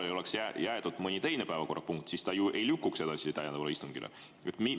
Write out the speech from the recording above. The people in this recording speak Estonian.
Aga juhul, kui pooleli jääks mõni teine päevakorrapunkt, siis see ju ei lükkuks edasi täiendavale istungile.